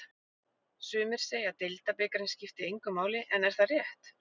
Sumir segja að deildabikarinn skipti engu máli en er það rétt?